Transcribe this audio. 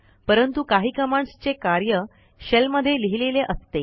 परंतु काही कमांडस् चे कार्य शेल मध्ये लिहिलेले असते